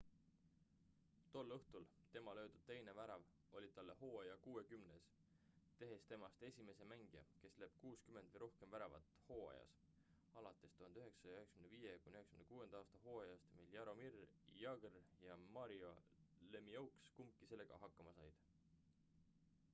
tol õhtul tema löödud teine värav oli talle hooaja kuuekümnes tehes temast esimese mängija kes lööb 60 või rohkem väravat hooajas alates 1995.–96. aasta hooajast mil jaromir jagr ja mario lemieux kumbki sellega hakkama said